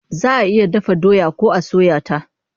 Za a iya dafa doya ko a soya ta.